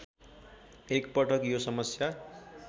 एकपटक यो समस्या